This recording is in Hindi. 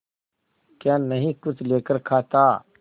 क्या नहीं कुछ लेकर खाता